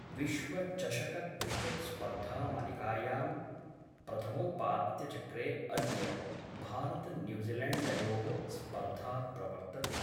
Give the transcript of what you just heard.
विश्वचषकक्रिकेट्‌स्पर्धामालिकायां प्रथमोपात्यचक्रे अद्य भारतन्यूजीलेण्डयोः स्पर्धा प्रवर्तते।